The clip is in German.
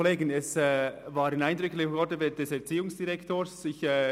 Es waren eindrückliche Worte des Erziehungsdirektors.